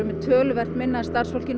með töluvert minna af starfsfólki